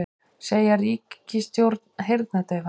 Segja ríkisstjórn heyrnardaufa